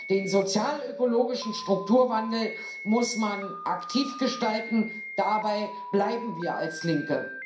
Den sozialökologischen Strukturwandel muss man aktiv gestalten dabei bleiben wir als Linke.